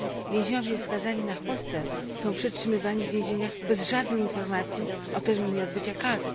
Więźniowie skazani na chłostę są przetrzymywani w więzieniach bez żadnych informacji o terminie odbycia kary.